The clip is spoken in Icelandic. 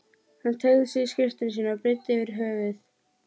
Hann teygði sig í skyrtuna sína og breiddi yfir höfuð.